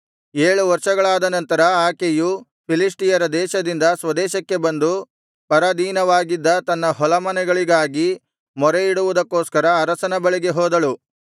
ಏಳು ವರ್ಷಗಳಾದ ನಂತರ ಆಕೆಯು ಫಿಲಿಷ್ಟಿಯರ ದೇಶದಿಂದ ಸ್ವದೇಶಕ್ಕೆ ಬಂದು ಪರಾಧೀನವಾಗಿದ್ದ ತನ್ನ ಹೊಲಮನೆಗಳಿಗಾಗಿ ಮೊರೆಯಿಡುವುದಕ್ಕೋಸ್ಕರ ಅರಸನ ಬಳಿಗೆ ಹೋದಳು